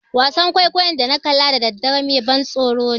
Wasan kwaikwayon da na kalla da daddare mai ban tsoro ne.